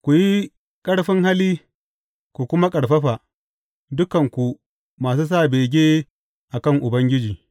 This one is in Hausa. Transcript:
Ku yi ƙarfin hali ku kuma ƙarfafa, dukanku masu sa bege a kan Ubangiji.